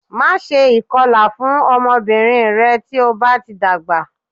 Máṣe ìkọlà fún ọmọbìnrin rẹ tí o bá ti dàgbà